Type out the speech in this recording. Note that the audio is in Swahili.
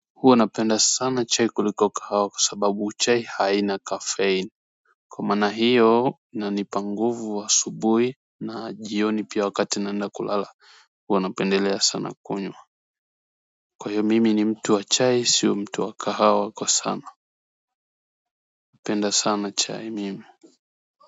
Huwa napenda sana chai kuliko kahawa kwa sababu chai haina caffene. Kwa maana hiyo, inanipa nguvu asubuhi na jioni pia wakati naenda kulala. Huwa napendelea sana kunywa. Kwa hiyo mimi ni mtu wa chai sio wa mtu wa kahawa kwa sana. Napenda sana chai mimi.